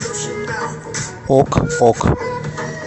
ок ок